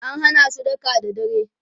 an Hana su daka da dare